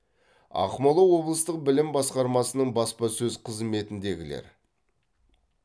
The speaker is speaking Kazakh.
ақмола облыстық білім басқармасының баспасөз қызметіндегілер